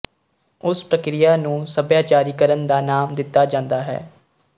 ਉਸ ਪ੍ਰਕਿਰੀਆ ਨੂੰ ਸਭਿਆਚਾਰੀਕਰਣ ਦਾ ਨਾਮ ਦਿੱਤਾ ਜਾਂਦਾ ਹੈ